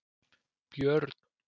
Björn